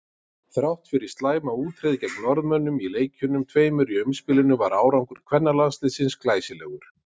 Þrátt fyrir slæma útreið gegn Norðmönnum í leikjunum tveimur í umspilinu var árangur kvennalandsliðsins glæsilegur.